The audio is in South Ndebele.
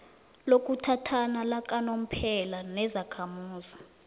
lokuthathana lakanomphela nezakhamuzi